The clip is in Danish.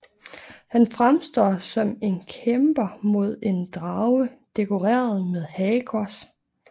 Han fremstår som en kæmper mod en drage dekoreret med hagekors